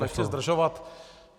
Nechci zdržovat.